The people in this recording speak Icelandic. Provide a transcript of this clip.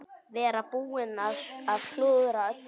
Vera búinn að klúðra öllu.